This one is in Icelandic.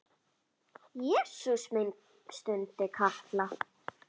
Jesús minn stundi Kata.